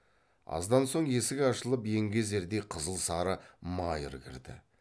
аздан соң есік ашылып еңгезердей қызыл сары майыр кірді